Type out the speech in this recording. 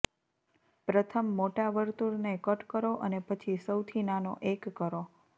પ્રથમ મોટા વર્તુળને કટ કરો અને પછી સૌથી નાનો એક કરો